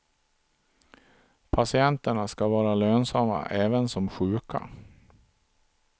Patienterna ska vara lönsamma även som sjuka.